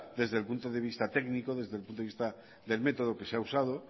desde el punto de vista técnico desde el punto de vista del método que se ha usado